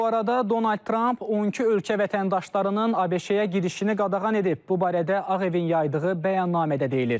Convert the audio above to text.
Bu arada Donald Tramp 12 ölkə vətəndaşlarının ABŞ-yə girişini qadağan edib, bu barədə Ağ Evin yaydığı bəyanatda deyilir.